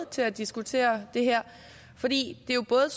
til at diskutere det her for det er jo både